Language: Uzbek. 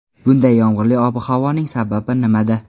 Bunday yomg‘irli ob-havoning sababi nimada?